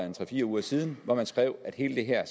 en tre fire uger siden man skrev at hele det her